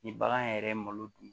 Ni bagan yɛrɛ ye malo dun